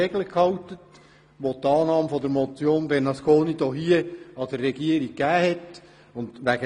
Wir haben uns an die Regeln gehalten, welche der Regierung durch die Annahme der Motion Bernasconi gegeben wurden.